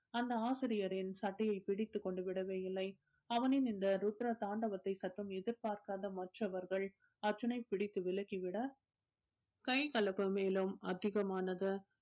அந்த ஆசிரியரின் சட்டையை பிடித்துக் கொண்டு விடவே இல்லை அவனின் இந்த ருத்ர தாண்டவத்தை சற்றும் எதிர்பார்க்காத மற்றவர்கள் அர்ஜுனை பிடித்து விலக்கி விட கைகலப்பு மேலும் அதிகமானது